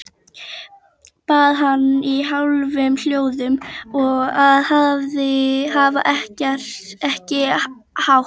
Bað hana í hálfum hljóðum að hafa ekki hátt.